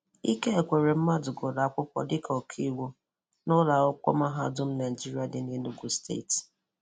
Ike Ekweremmadụ gụrụ akwụkwọ dịka ọkàiwu na Ụlọ Akwụkwọ Mahadụ Naịjirịa dị n’Enugu Steeti.